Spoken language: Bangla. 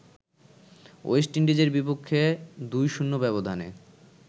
ওয়েস্ট ইন্ডিজের বিপক্ষে ২-০ ব্যবধানে